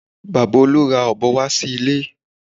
Bàbá Olú ra ọ̀bọ wá sí ilé